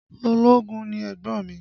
Ológun ni ẹ̀gbọ́n mi